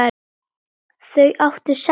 Þau áttu sex börn.